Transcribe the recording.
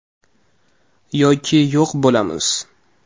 Yoki yo‘q bo‘lamiz”.